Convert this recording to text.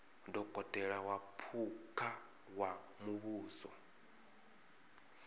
dokotela wa phukha wa muvhuso